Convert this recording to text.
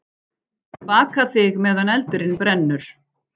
Baka þig meðan eldurinn brennur.